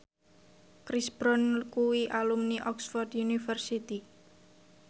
Chris Brown kuwi alumni Oxford university